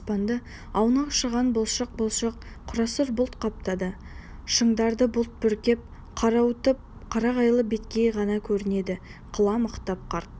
аспанды аунақшыған бұлшық-бұлшық қарасұр бұлт қаптады шыңдарды бұлт бүркеп қарауытып қарағайлы беткей ғана көрінеді қыламықтап қарт